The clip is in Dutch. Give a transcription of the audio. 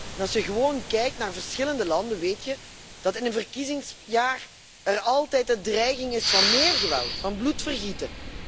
Door alleen te kijken naar verschillende landen weet je dat er in een verkiezingsjaar altijd de dreiging is van meer geweld, van bloedvergieten.